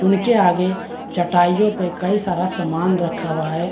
उनके आगे चटाइयों पे कई सारा सामान रखा हुआ है।